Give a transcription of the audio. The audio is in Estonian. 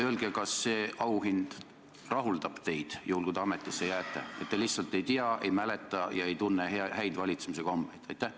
Ja juhul kui te ametisse jääte, kas teid rahuldab see auhind, et te lihtsalt ei tea, ei mäleta ega tunne häid valitsemise kombeid?